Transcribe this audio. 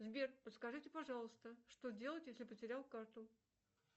сбер подскажите пожалуйста что делать если потерял карту